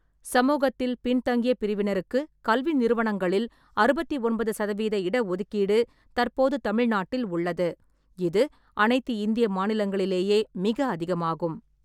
சமூகத்தில் பின்தங்கிய பிரிவினருக்கு கல்வி நிறுவனங்களில் அறுபத்தி ஒன்பது சதவீத இடஒதுக்கீடு தற்போது தமிழ்நாட்டில் உள்ளது. இது அனைத்து இந்திய மாநிலங்களிலேயே மிக அதிகமாகும்.